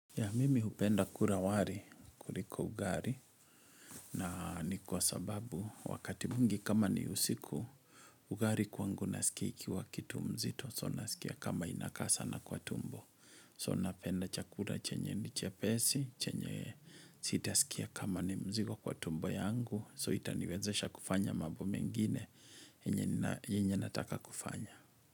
Ya mimi hupenda kura wari kuliko ugari na ni kwa sababu wakati mwngi kama ni usiku ugari kwangu nasikia ikiwa kitu mzito so nasikia kama inakaa sa na kwa tumbo so napenda chakura chenye che ni jepesi chenye sita sikia kama nimzigo kwa tumbo yangu so itaniwezesha kufanya mambo mengine yenye nataka kufanya.